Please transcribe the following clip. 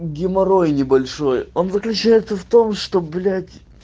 геморрой небольшой он заключается в том что блять